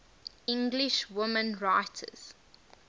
english women writers